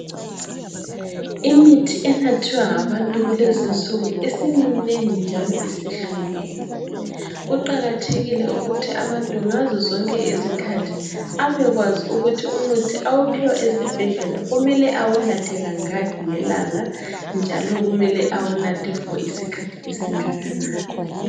Imithi enathwa ngabantu kulezinsuku isiminengi njalo isihlukene kuqakathekile ukuthi abantu ngazozonke izikhathi abekwazi ukuthi umuthi awuphiwa esibhedlela kumele awunathe kangaki ngelanga njalo kumele awunathe okwesikhathi esingakanani.